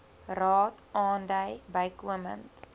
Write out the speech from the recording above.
raad aandui bykomend